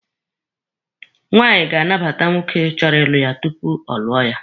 Nwaanyị ga-anabata nwoke chọrọ ịlụ ya tupu ọ lụọ ya.